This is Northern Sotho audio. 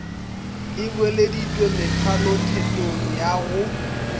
e boeleditšwe methalothetong ya go